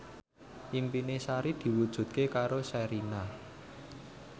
impine Sari diwujudke karo Sherina